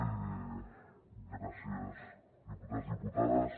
i gràcies diputats diputades